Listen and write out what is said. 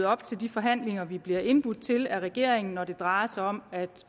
op til de forhandlinger vi bliver indbudt til af regeringen når det drejer sig om at